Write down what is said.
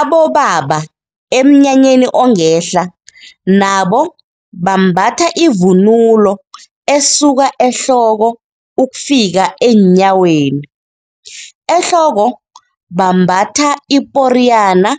Abobaba emnyanyeni ongehla nabo bambatha ivunulo esuka ehloko ukufika eenyaweni. Ehloko bambatha iporiyana,